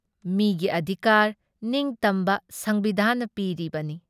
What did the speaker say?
ꯃꯤꯒꯤ ꯑꯙꯤꯀꯥꯔ ꯅꯤꯡꯇꯝꯕ ꯁꯪꯕꯤꯙꯥꯟꯅ ꯄꯤꯔꯤꯕꯅꯤ ꯫